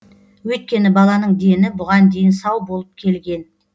өйткені баланың дені бұған дейін сау болып келген